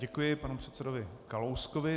Děkuji panu předsedovi Kalouskovi.